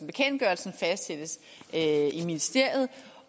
bekendtgørelsen fastsættes i ministeriet